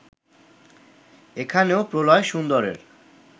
এখানেও প্রলয়-সুন্দরের